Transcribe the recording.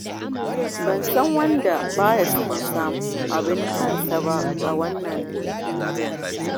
Ban san wanda ba ya so ya samu abin kansa ba a wannan duniyar.